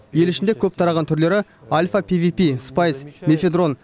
ел ішінде көп тараған түрлері альфа пвп спайс мефедрон